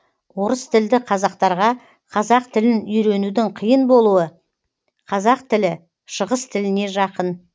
орыс тілді қазақтарға қазақ тілін үйренудің қиын болуы қазақ тілі шығыс тіліне жақын